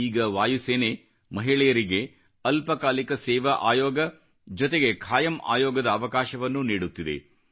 ಈಗ ವಾಯುಸೇನೆ ಮಹಿಳೆಯರಿಗೆ ಅಲ್ಪ ಕಾಲಿಕ ಸೇವಾ ಆಯೋಗ ಜೊತೆಗೆ ಖಾಯಂ ಆಯೋಗದ ಅವಕಾಶವನ್ನೂ ನೀಡುತ್ತಿದೆ